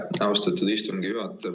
Aitäh, austatud istungi juhataja!